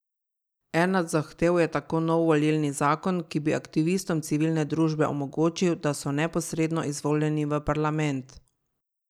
Ena od zahtev je tako nov volilni zakon, ki bi aktivistom civilne družbe omogočil, da so neposredno izvoljeni v parlament.